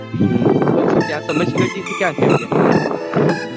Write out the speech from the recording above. પછી તમે સમ્મેતશિખરજી થી ક્યાં ક્યાં ગયા